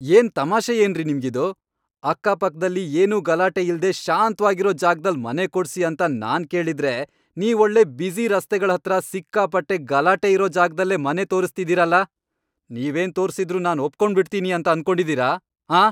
ಏನ್ ತಮಾಷೆಯೇನ್ರಿ ನಿಮ್ಗಿದು?! ಅಕ್ಕಪಕ್ದಲ್ಲಿ ಏನೂ ಗಲಾಟೆ ಇಲ್ದೇ ಶಾಂತ್ವಾಗಿರೋ ಜಾಗ್ದಲ್ಲ್ ಮನೆ ಕೊಡ್ಸಿ ಅಂತ ನಾನ್ ಕೇಳಿದ್ರೆ, ನೀವೊಳ್ಳೆ ಬ್ಯುಸಿ ರಸ್ತೆಗಳ್ಹತ್ರ, ಸಿಕ್ಕಾಪಟ್ಟೆ ಗಲಾಟೆ ಇರೋ ಜಾಗ್ದಲ್ಲೇ ಮನೆ ತೋರುಸ್ತಿದೀರಲ್ಲ? ನೀವೇನ್ ತೋರ್ಸಿದ್ರೂ ನಾನ್ ಒಪ್ಕೊಂಡ್ಬಿಡ್ತೀನಿ ಅನ್ಕೊಂಡಿದೀರ, ಆಂ?!